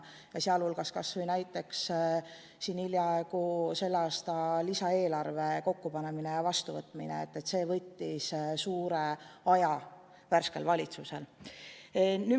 Kas või selle aasta lisaeelarve kokkupanemine ja vastuvõtmine võttis värskelt valitsuselt suure osa aega ära.